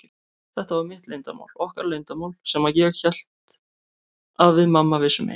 Þetta var mitt leyndarmál, okkar leyndarmál, sem ég hélt að við mamma vissum ein.